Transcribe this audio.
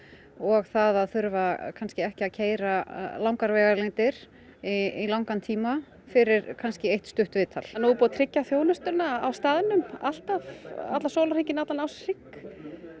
og það að þurfa kannski ekki að keyra langar vegalengdir í langan tíma fyrir kannski eitt stutt viðtal nú er búið að tryggja þjónustuna alltaf allan sólarhringinn allan ársins hring